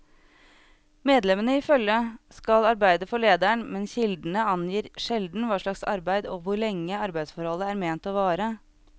Medlemmene i følget skal arbeide for lederen, men kildene angir sjelden hva slags arbeid og hvor lenge arbeidsforholdet er ment å vare.